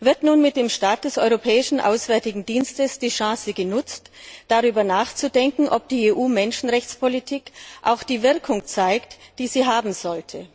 Wird nun mit dem Start des Europäischen Auswärtigen Dienstes die Chance genutzt, darüber nachzudenken, ob die EU Menschenrechtspolitik auch die Wirkung zeigt, die sie haben sollte?